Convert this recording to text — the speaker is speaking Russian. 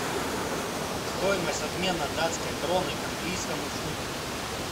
стоимость обмена датской кроны к английскому фунту